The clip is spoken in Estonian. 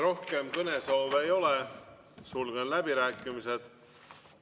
Rohkem kõnesoove ei ole, sulgen läbirääkimised.